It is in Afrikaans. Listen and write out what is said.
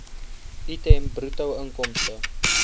item bruto inkomste